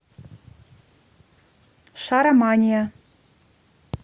шаромания